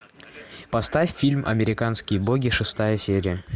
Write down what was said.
поставь фильм американские боги шестая серия